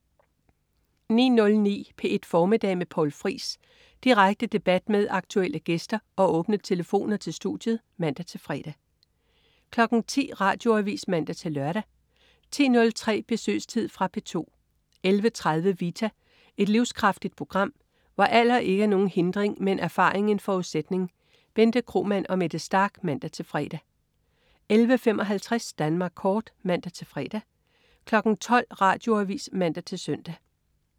09.09 P1 Formiddag med Poul Friis. Direkte debat med aktuelle gæster og åbne telefoner til studiet (man-fre) 10.00 Radioavis (man-lør) 10.03 Besøgstid. Fra P2 11.30 Vita. Et livskraftigt program, hvor alder ikke er nogen hindring, men erfaring en forudsætning. Bente Kromann og Mette Starch (man-fre) 11.55 Danmark Kort (man-fre) 12.00 Radioavis (man-søn)